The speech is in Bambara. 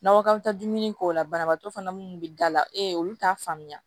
Nakɔ taa dumuni k'o la banabaatɔ fana munnu bɛ da la e ye olu t'a faamuya